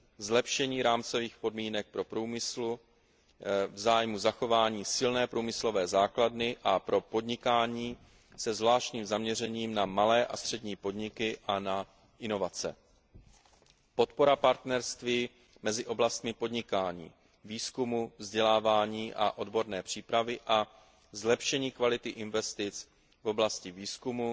zlepšení rámcových podmínek pro průmysl v zájmu zachování silné průmyslové základny pro podnikání se zvláštním zaměřením na malé a střední podniky a na inovace, podpora partnerství mezi oblastmi podnikání, výzkumu, vzdělávání a odborné přípravy a zlepšení kvality investic v oblasti výzkumu,